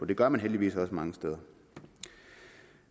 det gør man heldigvis også mange steder